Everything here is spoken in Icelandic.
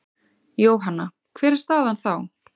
Jóhanna: Hver er staðan þá?